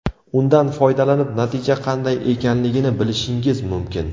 Undan foydalanib, natija qanday ekanligini bilishingiz mumkin.